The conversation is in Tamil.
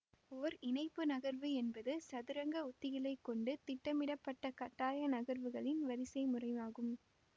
ஓர் இணைப்பு நகர்வு என்பது சதுரங்க உத்திகளை கொண்டு திட்டமிடப்பட்ட கட்டாய நகர்வுகளின் வரிசைமுறையாகும்